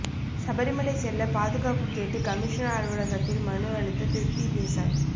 சபரிமலை செல்ல பாதுகாப்பு கேட்டு கமிஷனர் அலுவலகத்தில் மனு அளித்த திருப்தி தேசாய்